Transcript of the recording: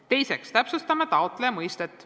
Teiseks, täpsustame taotleja mõistet.